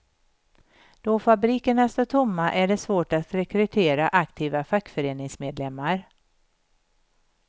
Då fabrikerna står tomma är det svårt att rekrytera aktiva fackföreningsmedlemmar.